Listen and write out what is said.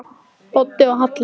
Doddi og Halla!